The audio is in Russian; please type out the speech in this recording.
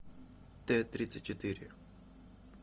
т тридцать четыре